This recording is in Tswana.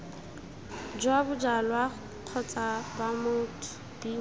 jwa bojalwa kgotsa b motho